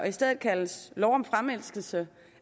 i stedet kaldes lov om fremelskelse